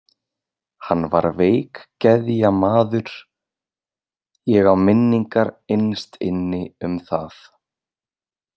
Hann var veikgeðja maður, ég á minningar innst inni um það.